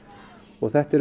og þetta er